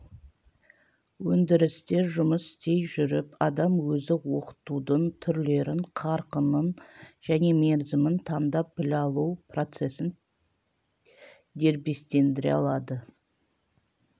өндірісте жұмыс істей жүріп адам өзі оқытудың түрлерін қарқынын және мерзімін таңдап білім алу процесін дербестендіре алады